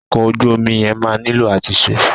Ọkọ̀ ojú omi yẹn máa nílò àtúnṣe.